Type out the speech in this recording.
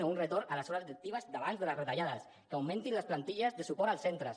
o un retorn a les hores lectives d’abans de les retallades que augmentin les plantilles de suport als centres